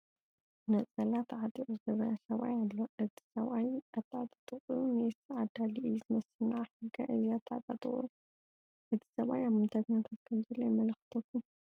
ነፀላ ተዓጢቑ ዝርአ ሰብኣይ ኣሎ፡፡ እዚ ሰብኣይ ኣተዓጣጥቅዑ ሜስ ዓዳሊ እዩ ዝመስል፡፡ ንዓኹም ከ እዚ ኣተዓጣጥቕኡ እቲ ሰብኣይ ኣብ ምንታይ ኩነታት ከምዘሎ የመላኽተኩም?